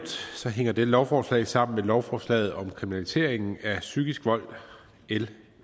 hænger dette lovforslag sammen med lovforslaget om kriminaliseringen af psykisk vold l